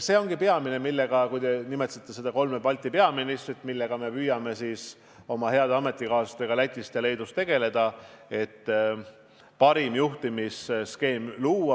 See ongi peamine, millega me püüame koos oma heade Läti ja Leedu ametikaaslastega tegeleda, et luua parim juhtimisskeem.